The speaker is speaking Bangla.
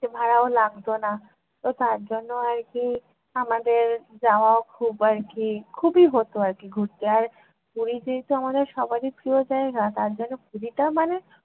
এর ভাড়াও লাগত না। তো তার জন্য আর কী আমাদের যাওয়াও খুব আর কী খুবই হত আর কী ঘুরতে। আর পুরীতেই তো আমাদের সবারই প্রিয় জায়গা তার জন্য পুরীটা মানে